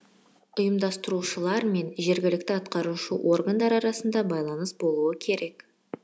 ұйымдастырушылар мен жергілікті атқарушы органдар арасында байланыс болу керек